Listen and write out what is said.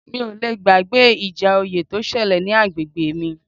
Mi ò le gbàgbé ìjà oyè tó ṣẹlẹ̀ ní agbègbè mi